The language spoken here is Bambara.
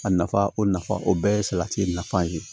A nafa o nafa o bɛɛ ye salati nafa ye